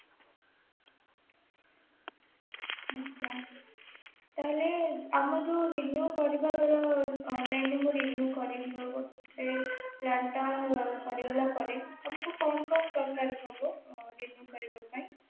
ଆଜ୍ଞା ତା ହେଲେ ଆମେ ଯୋଉ renew କରିବାର online ରୁ ବି renew କରିବାର ହେବ ପରେ ତମକୁ କଣ କଣ ଦରକାର ହବ renew କରିବାପାଇଁ